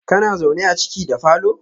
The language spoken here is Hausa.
kana zaune a ciki da falo?